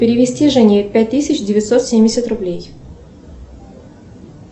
перевести жене пять тысяч девятьсот семьдесят рублей